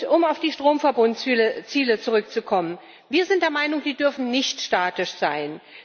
Um auf die Stromverbundziele zurückzukommen Wir sind der Meinung, diese Ziele dürfen nicht statisch sein.